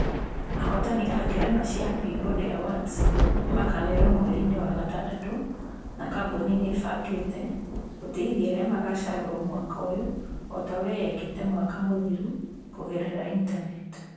Ahootani a ngerenwa cia Peabody Awards nĩ makaanĩrĩrwo mweri-inĩ wa gatandatũ na kambũni ni ĩĩbangĩte gũtĩithia arĩa magacagũrwo mwaka ũyũ o ta ũrĩa ĩekĩte mwaka mũthiru, kũgerera intaneti.